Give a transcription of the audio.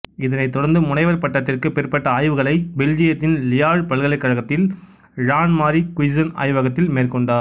இதனைத் தொடர்ந்து முனைவர் பட்டத்திற்கு பிற்பட்ட ஆய்வுகளை பெல்ஜியத்தின் லியாழ்ச் பல்கலைக்கழகத்தில் ழான்மாரீ குய்சென் ஆய்வகத்தில் மேற்கொண்டார்